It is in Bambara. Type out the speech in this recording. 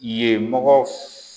Yen mɔgɔw f